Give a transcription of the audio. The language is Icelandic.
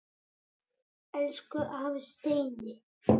Elsku afi Steini.